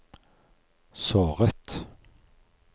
såret